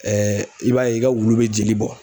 Ɛɛ i b'a ye i ka wulu be jeli bɔn